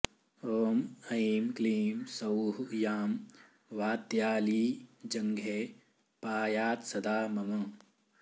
ॐ ऐं क्लीं सौः यां वात्याली जङ्घे पायात्सदा मम